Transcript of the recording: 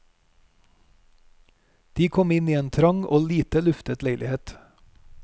De kom inn i en trang og lite luftet leilighet.